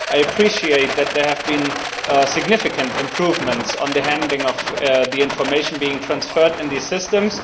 I appreciate that there have been significant improvements on the handling of the information being transferred in these systems.